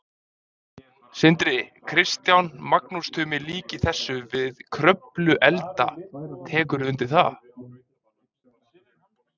Sindri: Kristján, Magnús Tumi líkir þessu við Kröfluelda, tekurðu undir það?